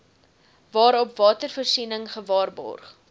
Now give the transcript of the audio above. waarop watervoorsiening gewaarborg